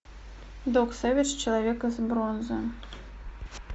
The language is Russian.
док сэвэдж человек из бронзы